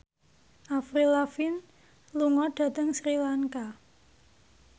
Avril Lavigne lunga dhateng Sri Lanka